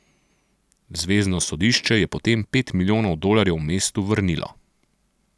Zvezno sodišče je potem pet milijonov dolarjev mestu vrnilo.